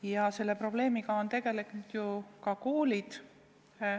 Ja selle probleemiga on tegelenud ju ka koolid.